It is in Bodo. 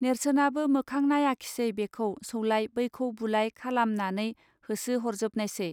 नेर्सोनाबो मोखां नायाखिसै बेखौ सौलाय बैखौ बुलाय खालामानानै होसो हरजोबनायसै